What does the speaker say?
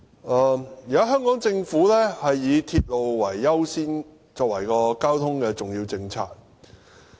現在香港政府以鐵路優先，作為交通政策的重點。